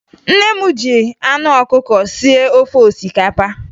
Nne m ji anụ ọkụkọ sie ofe osikapa